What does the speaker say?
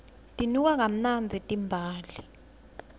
tinuka kamnandzi timbali